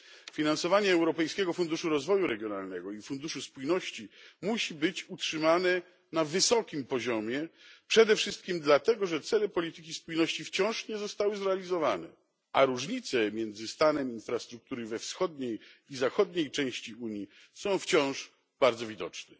Finansowanie Europejskiego Funduszu Rozwoju Regionalnego i Funduszu Spójności musi być utrzymane na wysokim poziomie przede wszystkim dlatego, że cele polityki spójności wciąż nie zostały zrealizowane, a różnice między stanem infrastruktury we wschodniej i zachodniej części Unii są wciąż bardzo widoczne.